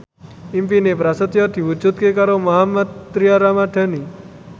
impine Prasetyo diwujudke karo Mohammad Tria Ramadhani